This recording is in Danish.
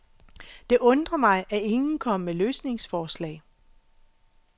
Det undrer mig, at ingen kommer med løsningsforslag.